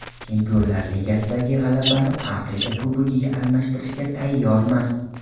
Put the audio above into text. Chempionlar Ligasidagi g‘alabani Afrika Kubogiga almashtirishga tayyorman.